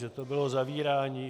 Že to bylo zavírání.